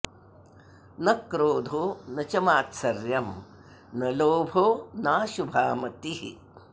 न क्रोधो न च मात्सर्यं न लोभो नाशुभा मतिः